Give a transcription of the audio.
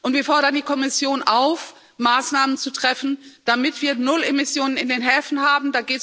Wir fordern die Kommission auf, Maßnahmen zu treffen, damit wir null Emissionen in den Häfen haben.